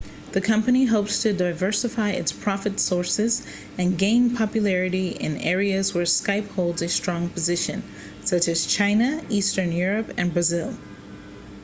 the company hopes to diversify its profit sources and gain popularity in areas where skype holds a strong position such as china eastern europe and brazil